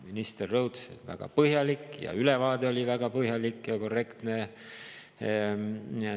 Minister rõhutas, et väga põhjalik, ja ülevaade oli väga põhjalik ja korrektne.